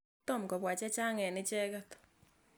Tom kopwa che chang' eng' icheket.